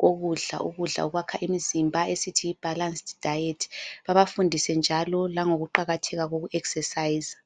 kokudla, ukudla okwakha imizimba esithi yi(balanced diet)babafundise njalo lango kuqakatheka koku ekisesayiza.